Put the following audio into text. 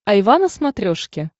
айва на смотрешке